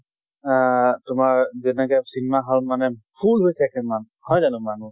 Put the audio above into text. আহ তোমাৰ যেনেকে cinema hall মানে full হৈ থাকে মান, হয় জানো মানুহ?